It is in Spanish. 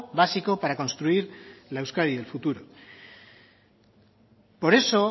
básico para construir la euskadi del futuro por eso